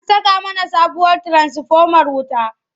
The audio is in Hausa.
An saka mana sabuwar tiransifomar wuta.